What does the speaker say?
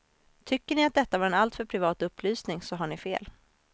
Tycker ni att detta var en alltför privat upplysning, så har ni fel.